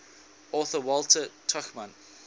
author walter tuchman